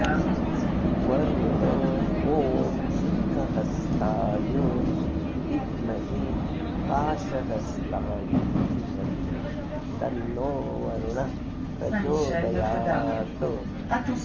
वरुण ॐ शुद्धहस्ताय विद्महे पाशहस्ताय धीमहि तन्नो वरुणः प्रचोदयात्